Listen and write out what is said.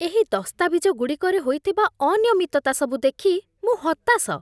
ଏହି ଦସ୍ତାବିଜଗୁଡ଼ିକରେ ହୋଇଥିବା ଅନିୟମିତତା ସବୁ ଦେଖି ମୁଁ ହତାଶ ।